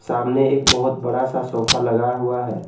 सामने एक बहुत बड़ा सा सोफा लगा हुआ है।